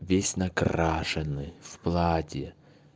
весь накрашенный в платье